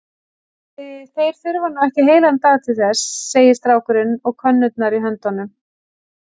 Þeir þurfa nú ekki heilan dag til þess, segir strákurinn og könnurnar í höndum